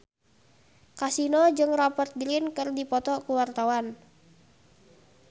Kasino jeung Rupert Grin keur dipoto ku wartawan